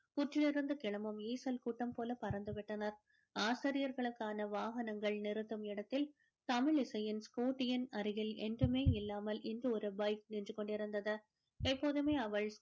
புற்றிலிருந்து கிளம்பும் ஈசல் கூட்டம் போல பறந்து விட்டனர். ஆசிரியர்களுக்கான வாகனங்கள் நிறுத்தும் இடத்தில் தமிழிசையின் scooty யின் அருகில் என்றுமே இல்லாமல் இன்று ஒரு bike நின்று கொண்டிருந்தது. எப்போதுமே அவள்